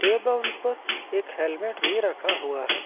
Able पर एक helmet भी रखा हुआ है।